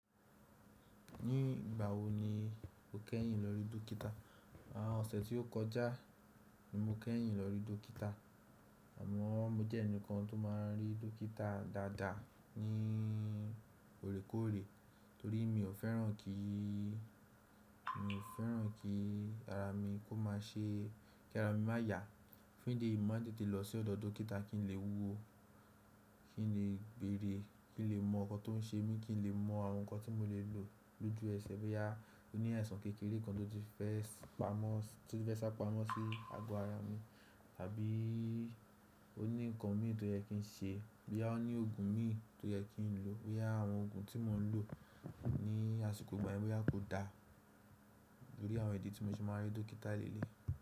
Ní ìgbà wo ni o kẹ́yìn lórí dókítà? Àwọn ọ̀sẹ̀ tí ó kọjá ni mo kẹ́yìn lórí dókítà. Àmọ́ mo jẹ́ ẹnìkan tó máa ń rí dókítà dáadáa ní òrékòóré torí mi ò fẹ́ràn kí, mi ò fẹ́ràn kí ara mi kó máa ṣe kí ara mi máa yà. Fún ìdí èyí, mo máa ń tètè lọ sí ọ̀dọ̀ dókítà kí n lè wúwo, kí n lè bèrè, kí n lè mọ̀ ọkàn tó ń ṣe mí, kí n lè mọ̀ àwọn nǹkan tí mo lè lò lójú ẹsẹ̀ bóyá ó ní àìsàn kékeré kan tó ti fẹ́ sá pamọ́ sí ago ara mi tàbí ó ní nǹkan mí tí ó yẹ kí n ṣe, bóyá ó ní òògùn mi tó yẹ kí n lò, bóyá àwọn òògùn tí mò ń lò ní àsìkò ìgbà míràn, bóyá kò dá. Bóyá àwọn ìdí tí mo ti máa ń rí dókítà léèléyi.